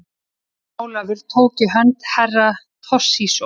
Jón Ólafur tók í hönd Herra Toshizo.